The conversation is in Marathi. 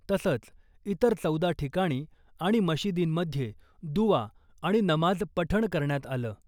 तसंच , इतर चौदा ठिकाणी आणि मशिदींमध्ये दुवा आणि नमाज पठण करण्यात आलं .